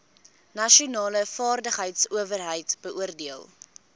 nasionale vaardigheidsowerheid beoordeel